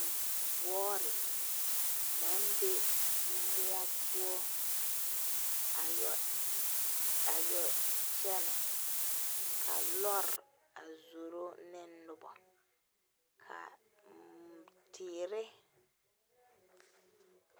Wɔɔri nang be mou pou a yu kyene ka lɔɔri a ye zuro ne nuba kaa teere.